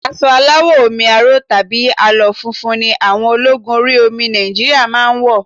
Aṣọ aláwọ̀ omi aró tàbí àlọ́ funfun ni àwọn ológun orí omi Nigeria máa ń wọ̀